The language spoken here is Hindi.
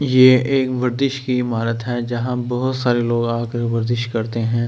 ये एक वज्रिश की इमारत है जहाँ बहुत सारे लोग आकर वज्रिश करते है ।